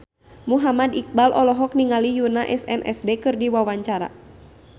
Muhammad Iqbal olohok ningali Yoona SNSD keur diwawancara